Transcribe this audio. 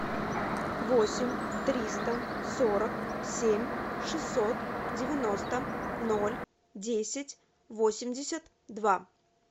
восемь триста сорок семь шестьсот девяносто ноль десять восемьдесят два